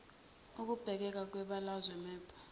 ukubukeka kwebalazwe map